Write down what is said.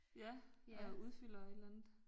Ja og udfylder et eller andet